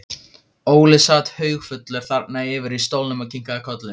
Óli sat haugfullur þarna yfir í stólnum og kinkaði kolli.